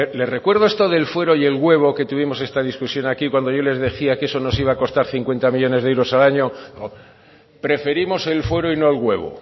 le recuerdo esto del fuero y el huevo que tuvimos esta discusión aquí cuando yo les decía que eso nos iba a costar cincuenta millónes de euros al año no preferimos el fuero y no el huevo